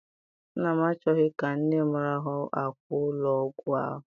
Nna m achọghị ka nne m rahụ n'akwa ụlọ ọgwụ ahụ.